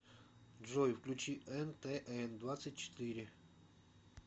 джой включи эн тэ эн двадцать четыре